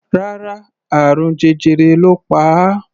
Rárá, àrùn jẹjẹrẹ ló pa á.